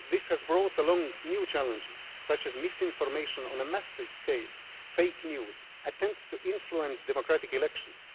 widely. This has brought along new challenges, such as misinformation on a massive scale, fake news and attempts to influence democratic elections.